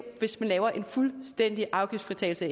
hvis man laver en fuldstændig afgiftsfritagelse